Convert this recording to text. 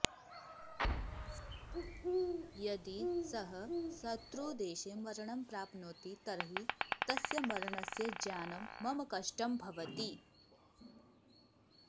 यदि सः शत्रुदेशे मरणं प्राप्नोति तर्हि तस्य मरणस्य ज्ञानं मम कष्टं भवति